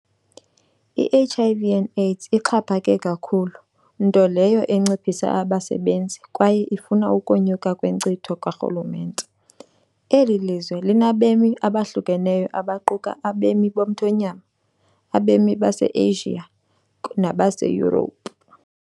I-HIV and AIDS ixhaphake kakhulu, nto leyo enciphisa abasebenzi kwaye ifuna ukonyuka kwenkcitho karhulumente. Eli lizwe linabemi abahlukahlukeneyo abaquka abemi bomthonyama, abemi baseAsia nabaseYurophu .